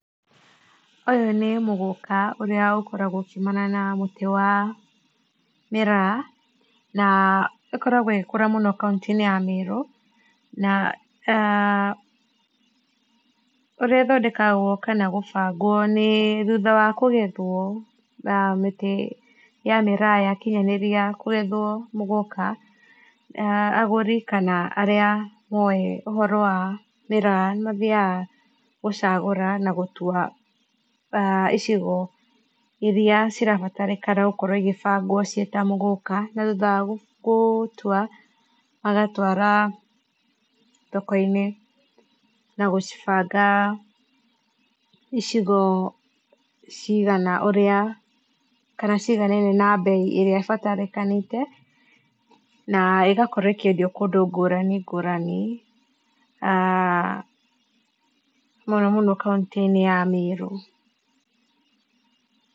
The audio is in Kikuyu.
Uyũ nĩ mũgũka ũrĩa ũkoragwo ũkĩũmana na mũtĩ wa miraa ũkoragwo ũgĩkũra mũno kaũntĩ ya Meru na ũrĩa ĩthondekagwo kana gũbangwo nĩ thũtha wa kũgethwo na mĩtĩ ya mĩraa yakĩnyanĩrĩa kũgethwo mũgũka, agũrĩ kana arĩa moe ũhoro wa miraa nĩmathĩaga kũcagũra nagũtua icigo ĩrĩa cirabatarĩka gũkorwo igĩbangwo ci ta mũgũka na thũtha wa gũtũa, magatwara thoko inĩ na gũcibanga ĩcigo cĩgana ũrĩa kana ciiganaine na mbeĩ ĩrĩa ĩbataranĩke na ĩgakorwo ĩkĩendĩo kũndũ gũranĩ gũranĩ mũno mũno kaũntĩ inĩ ya Merũ.